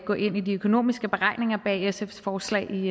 gå ind i de økonomiske beregninger bag sfs forslag i